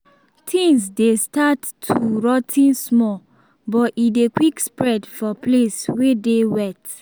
tins dey start too rot ten small but e dey quick spread for place wey dey wet